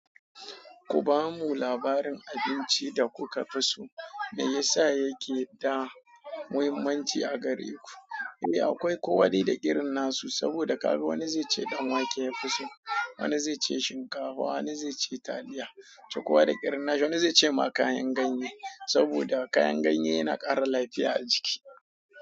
Ku ba mu labarin abinci da kuka fi so, me yasa yake da muhimmanci a gare ku? Eh, akwai kowa dai da irin nasu, saboda ka ga wani zai ce danwake ya fi so, wani zai ce shinkafa, wani zai ce taliya, toh kowa da irin nashi wani zai ce ma kayan ganye, saboda kayan ganye yana ƙara lafiya a jiki.